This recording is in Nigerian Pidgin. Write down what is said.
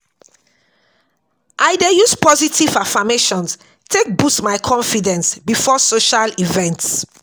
I dey use positive affirmations take boost my confidence before social events.